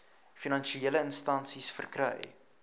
finansiële instansies verkry